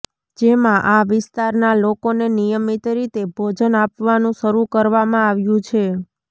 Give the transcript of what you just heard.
જેમાં આ વિસ્તારના લોકોને નિયમિત રીતે ભોજન આપવાનું શરૂ કરવામાં આવ્યું છે